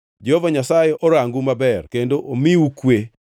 Jehova Nyasaye orangu maber kendo omiu kwe.’